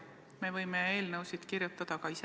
Me võime eelnõusid kirjutada ka ise.